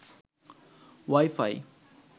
Y phi